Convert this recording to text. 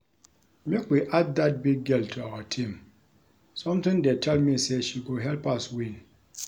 Make we add dat big girl to our team something dey tell me say she go help us win